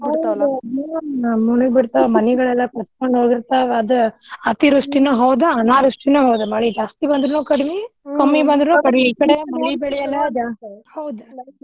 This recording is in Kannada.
ಹೌದ ಮುಳಗಿಬಿಡ್ತಾವ ಮನಿಗೋಳೆಲ್ಲಾ ಕೊಚ್ಕೊಂಕ್ ಹೋಗಿಬಿಡ್ತಾವ. ಆದ ಅತಿವೃಷ್ಟಿನು ಹೌದ ಅನಾವೃಷ್ಠಿನು ಹೌದ ಮಳಿ. ಜಾಸ್ತಿ ಬಂದ್ರುನು ಕಡ್ಮಿ ಕಮ್ಮಿ ಬಂದ್ರುನು ಕಡ್ಮಿ